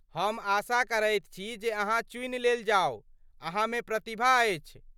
हम आशा करैत छी जे अहाँ चुनि लेल जाउ, अहाँमे प्रतिभा अछि।